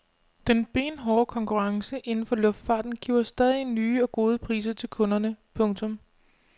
Den benhårde konkurrence inden for luftfarten giver stadig nye og gode priser til kunderne. punktum